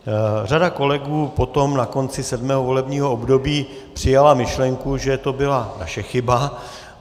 Řada kolegů potom na konci sedmého volebního období přijala myšlenku, že to byla naše chyba.